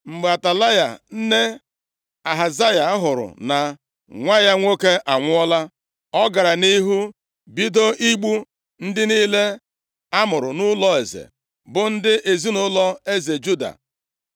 Mgbe Atalaya, nne Ahazaya hụrụ na nwa ya nwoke anwụọla, ọ gara nʼihu bido igbu ndị niile a mụrụ nʼụlọ eze, bụ ndị ezinaụlọ eze Juda.